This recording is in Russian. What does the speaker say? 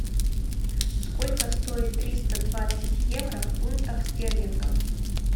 сколько стоит триста двадцать евро в фунтах стерлингов